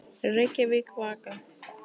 Reykjavík, Vaka.